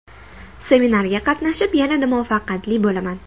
Seminarga qatnashib yanada muvaffaqiyatli bo‘laman!